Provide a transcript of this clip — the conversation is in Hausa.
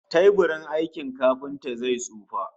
Teburin aikin kafinta zai tsufa